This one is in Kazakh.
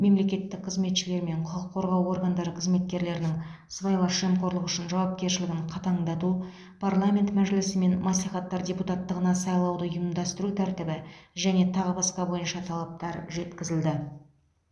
мемлекеттік қызметшілер мен құқық қорғау органдары қызметкерлерінің сыбайлас жемқорлық үшін жауапкершілігін қатаңдату парламент мәжілісі мен мәслихаттар депутаттығына сайлауды ұйымдастыру тәртібі және тағы басқа бойынша талаптар жеткізілді